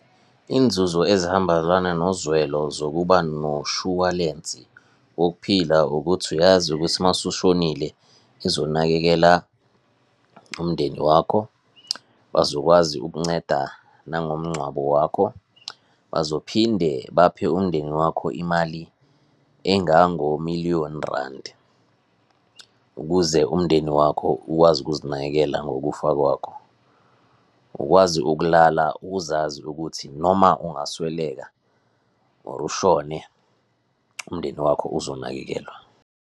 Iy'nzuzo ezihambelana nozwelo zokuba noshuwalensi wokuphila ukuthi uyazi ukuthi masushonile izonakekela umndeni wakho, bazokwazi ukunceda nangomngcwabo wakho, bazophinde baphe umndeni wakho imali engango-million rand ukuze umndeni wakho uwazi ukuzinakekela ngokufa kwakho. Ukwazi ukulala, ukuzazi ukuthi noma ungasweleka or ushone, umndeni wakho uzonakekelwa.